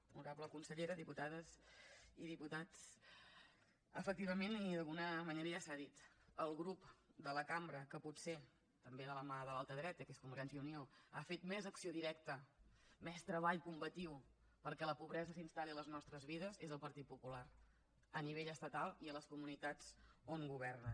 honorable consellera diputades i diputats efectivament d’alguna manera ja s’ha dit el grup de la cambra que potser també de la mà de l’altra dreta que és convergència i unió ha fet més acció directa més treball combatiu perquè la pobresa s’instal·li a les nostres vides és el partit popular a nivell estatal i a les comunitats on governa